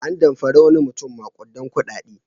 An damfari wani mutum maƙudan kuɗaɗe.